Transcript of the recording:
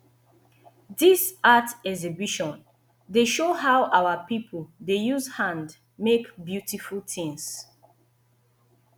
dis art exhibition dey show how our pipo dey use hand make beautiful tins